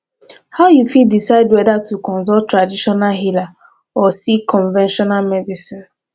how you fit decide whether to consult traditional healer or seek conventional medicine